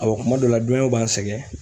Awɔ kuma dɔw la b'an sɛgɛn.